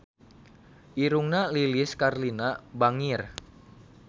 Irungna Lilis Karlina bangir